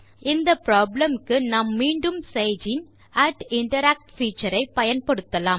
இந்த ப்ராப்ளம் க்கு நாம் மீண்டும் சேஜ் இன் interact பீச்சர் ஐ பயன்படுத்தலாம்